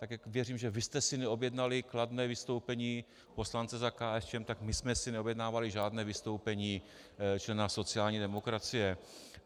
Tak jako věřím, že vy jste si neobjednali kladné vystoupení poslance za KSČM, tak my jsme si neobjednávali žádné vystoupení člena sociální demokracie.